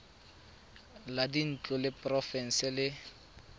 la dintlo la porofense le